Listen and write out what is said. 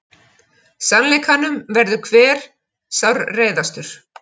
Sannleikanum verður hver sárreiðastur.